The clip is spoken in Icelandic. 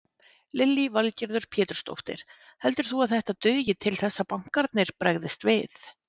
Lillý Valgerður Pétursdóttir: Heldur þú að þetta dugi til þess að bankarnir bregðist við?